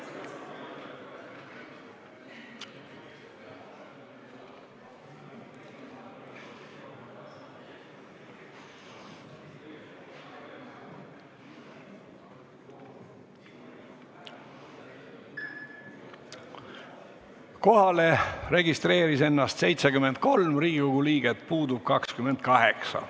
Kohaloleku kontroll Kohalolijaks registreeris ennast 73 Riigikogu liiget, puudub 28.